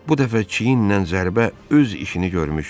Bu dəfə çiyinlə zərbə öz işini görmüşdü.